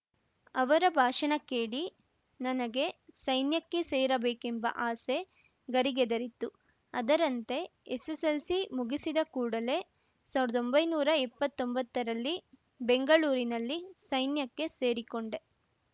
ಅವರ ಭಾಷಣ ಕೇಳಿ ನನಗೆ ಸೈನ್ಯಕ್ಕೆ ಸೇರಬೇಕೆಂಬ ಆಸೆ ಗರಿಗೆದರಿತ್ತು ಅದರಂತೆ ಎಸ್‌ಎಸ್‌ಎಲ್‌ಸಿ ಮುಗಿಸಿದ ಕೂಡಲೇ ಸಾವಿರ್ದೊಂಭೈನೂರಾ ಇಪ್ಪತೊಂಬತ್ತರಲ್ಲಿ ಬೆಂಗಳೂರಿನಲ್ಲಿ ಸೈನ್ಯಕ್ಕೆ ಸೇರಿಕೊಂಡೆ